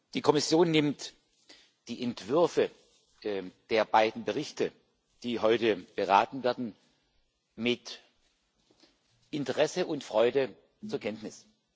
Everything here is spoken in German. Die Kommission nimmt die Entwürfe der beiden Berichte, über die heute beraten wird, mit Interesse und Freude zur Kenntnis.